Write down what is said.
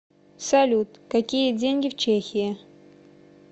салют какие деньги в чехии